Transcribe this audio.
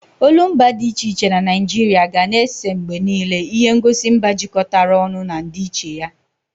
Olumba dị iche iche na Naijiria ga na-ese mgbe niile ihe ngosi mba jikọtara ọnụ na ndịiche ya.